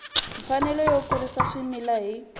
mfanelo yo kurisa swimila hi